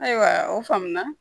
Ayiwa o faamu na